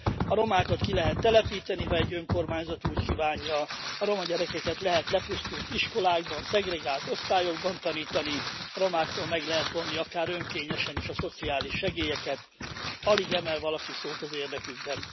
A romákat ki lehet telepíteni, ha egy önkormányzat úgy kívánja, a roma gyerekeket lehet lepusztult iskolákban, szegregált osztályokban tanítani, a romáktól meg lehet vonni akár önkényesen is a szociális segélyeket, s alig emel valaki szót az érdekükben.